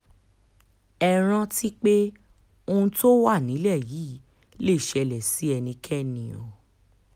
ẹ rántí pé ohun tó wà nílẹ̀ yìí lè ṣẹlẹ̀ sí ẹnikẹ́ni o